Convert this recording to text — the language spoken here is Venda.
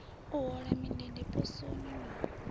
u hola mindende poswoni na